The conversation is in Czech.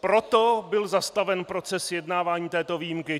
Proto byl zastaven proces vyjednávání této výjimky.